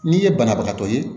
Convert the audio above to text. N'i ye banabagatɔ ye